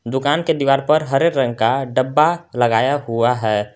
दुकान के दीवार पर हरे रंग का डब्बा लगाया हुआ है।